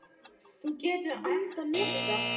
Þú getur andað léttar!